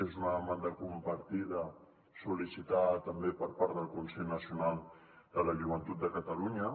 és una demanda compartida sol·licitada també per part del consell nacional de la joventut de catalunya